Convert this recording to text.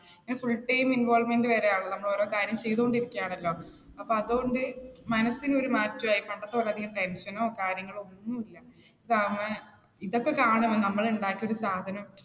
full time involvement വരെയാകും നമ്മൾ ഓരോ കാര്യം ചെയ്തു കൊണ്ടിരിക്കുകയാണല്ലോ. അപ്പ അതുകൊണ്ട് മനസ്സിന് ഒരു മാറ്റമായി. പണ്ടത്തെപ്പോലെ അധികം tension നോ കാര്യങ്ങളോ ഒന്നും ഇല്ല. ഇതൊക്കെ കാരണമാണ് നമ്മൾ ഉണ്ടാക്കിയ ഒരു സാധനം